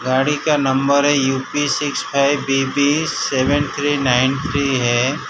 गाड़ी का नंबर है U P six five B B seven three nine three है।